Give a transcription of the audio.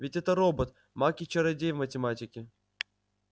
ведь этот робот маг и чародей в математике